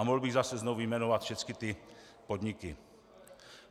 A mohl bych zase znovu vyjmenovat všecky ty podniky.